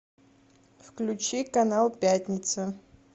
включи канал пятница